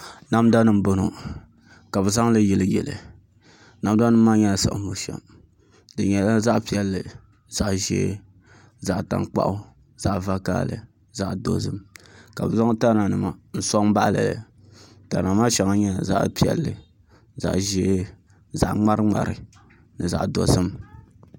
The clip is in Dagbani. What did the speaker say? Namda nim n bɔŋɔ ka bi zaŋli yili yili namda nim maa nyɛla siɣim bushɛm di nyɛla zaɣ piɛlli zaɣ ʒiɛ zaɣ tankpaɣu zaɣ vakaɣali zaɣ dozim ka bi zaŋ tana nima n soŋ baɣali li tana maa shɛŋa nyɛla zaɣ puɛlli zaɣ ʒiɛ zaɣ ŋmari ŋmari